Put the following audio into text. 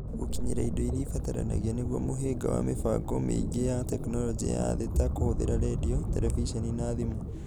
Gũkinyĩra indo iria ibataranagia nĩguo mũhinga wa mĩbango mĩingĩ ya tekinoronjĩ ya thĩ ta kũhũthĩra rendio, terebiceni, na thimũ.